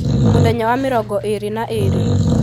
mũthenya wa mĩrongo ĩĩrĩ na ĩĩrĩ